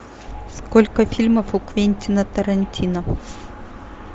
сколько фильмов у квентина тарантино